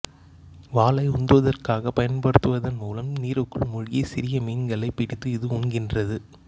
வாலை உந்துவதற்காகப் பயன்படுத்துவதன் மூலம் நீருக்குள் மூழ்கிச் சிறிய மீன்களைப் பிடித்து இது உண்கின்றது